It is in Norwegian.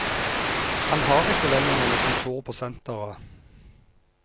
Han har ikke lenger noe kontor på senteret.